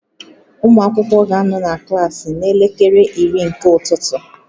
Ụmụ akwụkwọ ga-anọ na klaasị n'elekere iri nke ụtụtụ